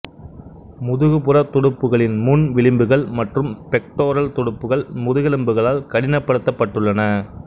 முதுகுபுற துடுப்புகளின் முன் விளிம்புகள் மற்றும் பெக்டோரல் துடுப்புகள் முதுகெலும்புகளால் கடினப்படுத்தப்பட்டுள்ளன